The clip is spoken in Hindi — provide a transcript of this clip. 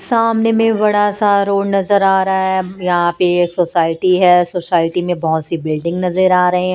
सामने में बड़ासा रोड नजर आ रहा है यहां पे एक सोसाइटी है सोसाइटी में बहोत सी बिल्डिंग नजर आ रहे हैं।